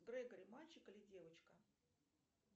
грегори мальчик или девочка